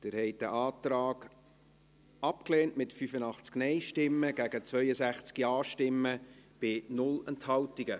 Sie haben diesen Antrag abgelehnt, mit 85 Nein- gegen 62 Ja-Stimmen bei 0 Enthaltungen.